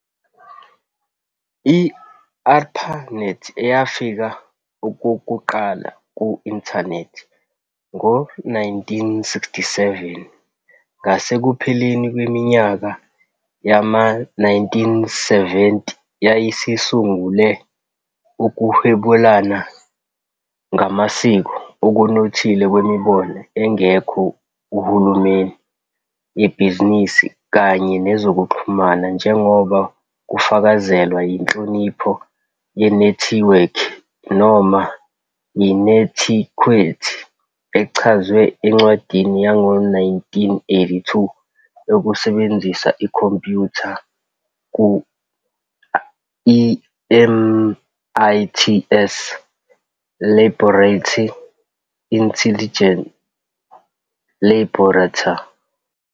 I-ARPANET, eyafika okokuqala ku-inthanethi ngo-1967, ngasekupheleni kweminyaka yama-1970 yayisungule ukuhwebelana ngamasiko okunothile kwemibono engekho kuhulumeni - yebhizinisi kanye nezokuxhumana, njengoba kufakazelwa yinhlonipho yenethiwekhi, noma i-'netiquette ', echazwe encwadini yango-1982 yokusebenzisa ikhompyutha ku I-MIT's Laboratory Intelligence Laboratory.